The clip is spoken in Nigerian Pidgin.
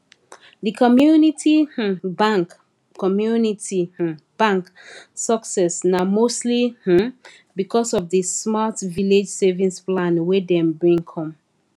the community um bank community um bank success na mostly um because of the smart village savings plan wey dem bring come